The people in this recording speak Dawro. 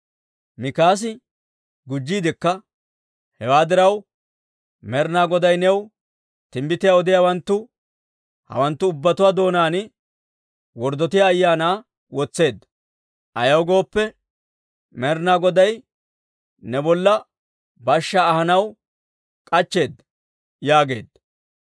Mikaasi gujjiidekka, «Hewaa diraw, Med'inaa Goday new timbbitiyaa odiyaawanttu hawanttu ubbatuwaa doonaan worddotiyaa ayaanaa wotseedda; ayaw gooppe, Med'inaa Goday ne bolla bashshaa ahanaw k'achcheeda» yaageedda.